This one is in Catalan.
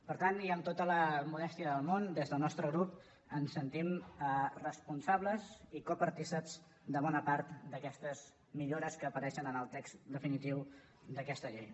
per tant i amb tota la modèstia del món des del nostre grup ens sentim responsables i copartícips de bona part d’aquestes millores que apareixen en el text definitiu d’aquesta llei